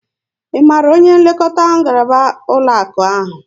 Ị maara onye nlekọta ngaraba ụlọakụ ahụ?